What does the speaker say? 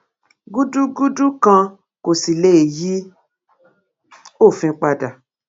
gùdùgudu kan kò sì lè yí òfin padà